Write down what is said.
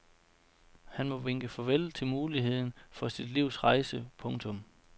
Han må vinke farvel til muligheden for sit livs rejse. punktum